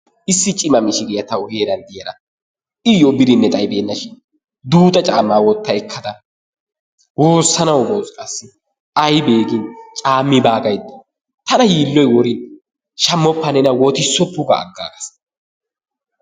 Issi cima mishiriya ta heeran diyara iyyo birinne xaybeenna shin duuxa caammaa wotta ekkada woossanawu bos qassi aybee gin caammi baa gaydda tana yiilloyi worin shammoppa nena wotissoppo ga aggaas.